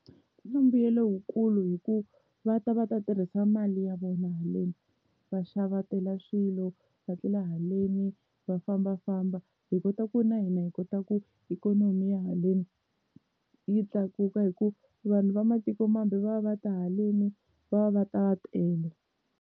Swi na mbuyelo wukulu hi ku va ta va ta tirhisa mali ya vona haleni va xavetela swilo va tlela haleni va fambafamba, hi kota ku na hina hi kota ku ikhonomi ya haleni yi tlakuka hi ku vanhu va matiko mambe va va va ta haleni va va va ta va tele.